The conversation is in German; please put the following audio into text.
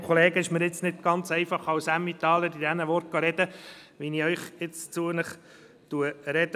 Es fällt mir nicht ganz leicht, als Emmentaler in diesem Sinne zu Ihnen zu sprechen.